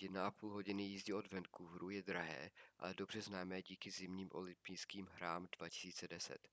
1,5 hodiny jízdy od vancouveru je drahé ale dobře známé díky zimním olympijským hrám 2010